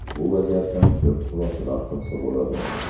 Bu vaziyatdan ko‘p xulosalar qilsa bo‘ladi.